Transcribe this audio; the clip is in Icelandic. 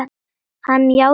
Hann játti því.